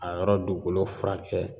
A yɔrɔ duukolo furakɛ